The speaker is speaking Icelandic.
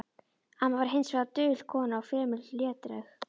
Amma var hins vegar dul kona og fremur hlédræg.